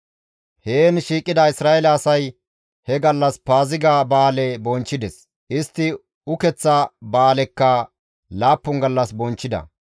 Heen shiiqida Isra7eele asay he gallas Paaziga ba7aale bonchchides; istti ukeththa ba7aalekka laappun gallas bonchchida.